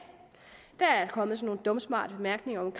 der er kommet nogle dumsmarte bemærkninger om